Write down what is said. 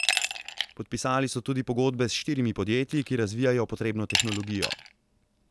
Podpisali so tudi pogodbe s štirimi podjetji, ki razvijajo potrebno tehnologijo.